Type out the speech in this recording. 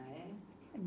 Ah, é?